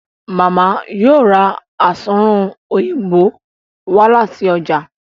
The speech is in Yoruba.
Mama yíò rá Asunrun Òyìnbó wá láti ọjà